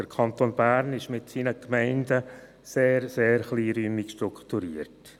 Der Kanton Bern ist mit seinen Gemeinden sehr, sehr kleinräumig strukturiert.